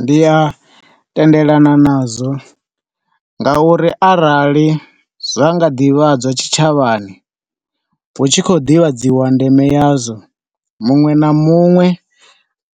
Ndi a tendelana nazwo ngauri arali zwa nga ḓivhadzwa tshitshavhani hu tshi khou ḓivhadziwa ndeme ya zwo. Muṅwe na muṅwe